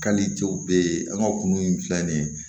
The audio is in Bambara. Hali cɛw bɛ ye an ka kunun filɛ nin ye